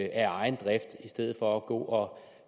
af egen drift i stedet for at gå